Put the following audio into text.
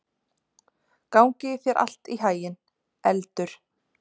Gangi þér allt í haginn, Eldur.